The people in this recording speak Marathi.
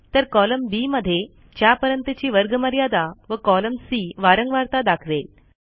तर कॉलम बी मध्ये च्यापर्यंतची वर्गमर्यादा व कॉलम सी वारंवारता दाखवेल